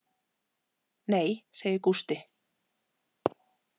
Nei, segir Gústi.